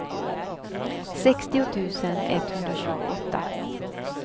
sextio tusen etthundratjugoåtta